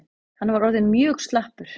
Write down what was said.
Hann var orðinn mjög slappur.